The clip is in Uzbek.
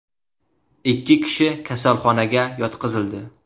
Ikki kishi kasalxonaga yotqizildi.